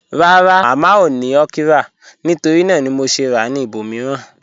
Rárá, Mámá ò ní okra nítorí nàà ni mò ṣè rà ní ìbòmíìran.